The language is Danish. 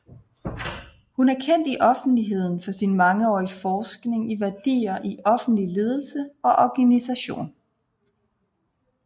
Hun er kendt i offentligheden for sin mangeårige forskning i værdier i offentlig ledelse og organisation